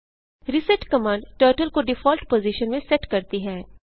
reset command turtle को default position में set करती है